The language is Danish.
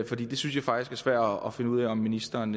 fordi det synes jeg faktisk er svært at finde ud af om ministeren